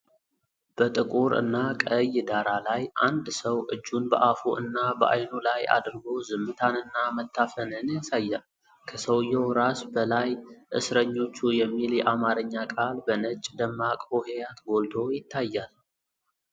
በጥቁር እና ቀይ ዳራ ላይ፣ አንድ ሰው እጁን በአፉ እና በዓይኑ ላይ አድርጎ ዝምታንና መታፈንን ያሳያል። ከሰውየው ራስ በላይ "እስረኞቹ" የሚል የአማርኛ ቃል በነጭ ደማቅ ሆሄያት ጎልቶ ይታያል።